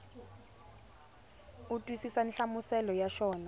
u twisisa nhlamuselo ya xona